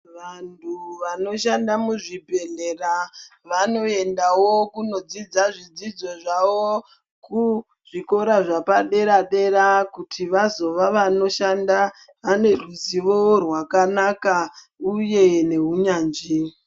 Vantu vanoshanda muzvibhedhlera vanoendawo kundodzidza zvidzidzo zvawo kuzvikora zvepadera dera kuti vazova vanoshanda vane ruzivo rwakanaka uye neunyanzvi.